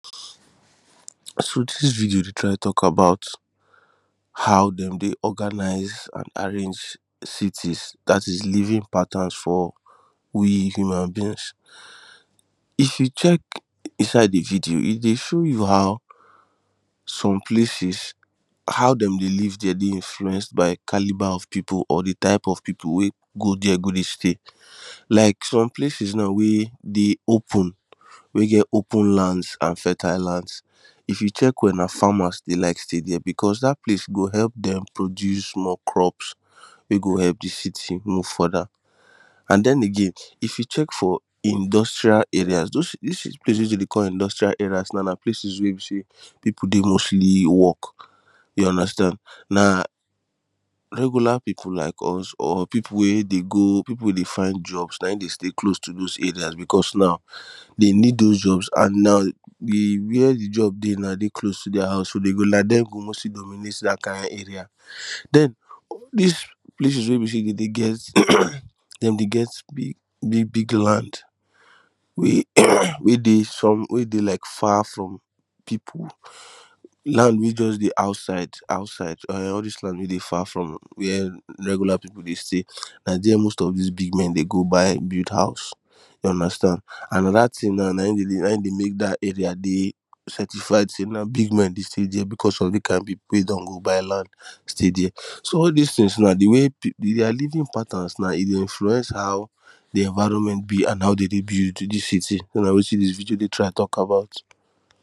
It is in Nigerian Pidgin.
So this video dey try talk about how dem dey organise and arrange cities that is Living patterns for we human beings. If you check inside the video e dey show you how some places how dem dey live there dey influenced by calibre of people or the type of people wey go there go dey stay like some places now wey dey open wey get open lands and fertile lands if you check well na farmers dey like stay there because that place go help them produce more crops wey go help the city move further and then again if you check for industrial areas those dis places dem dey call industrial areas and places wey be say people dey mostly work you understand na regular people like us or people wey dey go people wey dey find jobs na him dey stay close to those areas because now they need those jobs and na the where the job dey now dey close to their house so like them go mostly dominate that kind area then This places wey be say dem dey get dem dey get big big big lands wey wey dey some wey dey like far from people land wey juts dey outside outside um all this land wey dey far from where regular people dey stay na there most of this big men dey go buy build house you understand and na that thing now na him dey make that Area dey certified say na big men dey stay there because of the kind people wey don go buy land stay there. So all this things na the way their living pattern now e dey influence how the environment be and how dey dey build the city na wetin this video dey try talk about